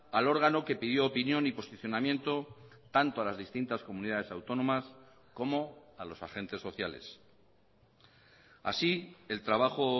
al órgano que pidió opinión y posicionamiento tanto a las distintas comunidades autónomas como a los agentes sociales así el trabajo